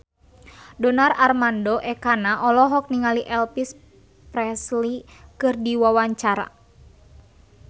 Donar Armando Ekana olohok ningali Elvis Presley keur diwawancara